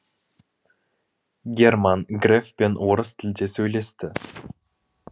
герман грефпен орыс тілде сөйлесті